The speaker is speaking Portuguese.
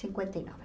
Cinquenta e nove.